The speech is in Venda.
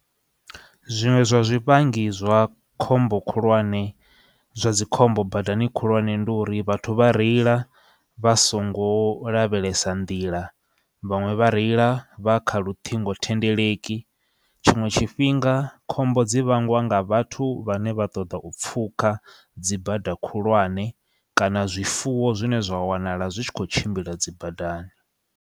Zwiṅwe zwa zwivhangi zwa khombo khulwane zwa dzi khombo badani khulwane ndi uri vhathu vha reila vha songo lavhelesa nḓila vhaṅwe vha reila vha kha luṱhingo thendeleki tshiṅwe tshifhinga khombo dzi vhangwa nga vhathu vhane vha ṱoḓa u pfhuka dzi bada khulwane kana zwifuwo zwine zwa wanala zwi tshi kho tshimbila dzi badani.